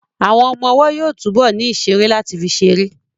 Àwọn ọmọ ọwọ́ yóò túbọ̀ ní ìṣeré láti fi ṣeré